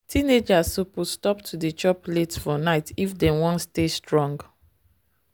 teenagers suppose stop to dey chop late for night if dem wan stay strong.